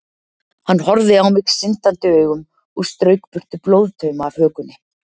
Hann horfði á mig syndandi augum og strauk burtu blóðtauma af hökunni.